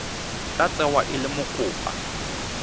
tla tsewa e le mokopa